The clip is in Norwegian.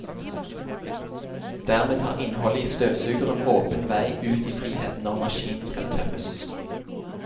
Dermed har innholdet i støvsugeren åpen vei ut i friheten når maskinen skal tømmes.